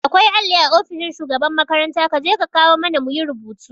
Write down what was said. Akwai alli a ofishin shugaban makaranta kaje ka kawo mana muyi rubutu